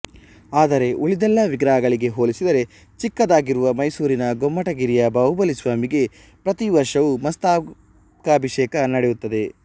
ಆದರೆ ಉಳಿದೆಲ್ಲ ವಿಗ್ರಹಗಳಿಗೆ ಹೋಲಿಸಿದರೆ ಚಿಕ್ಕದಾಗಿರುವ ಮೈಸೂರಿನ ಗೋಮಟಗಿರಿಯ ಬಾಹುಬಲಿ ಸ್ವಾಮಿಗೆ ಪ್ರತಿ ವರ್ಷವೂ ಮಸ್ತಕಾಭಿಷೇಕ ನಡೆಯುತ್ತದೆ